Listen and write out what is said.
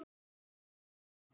Allir græða.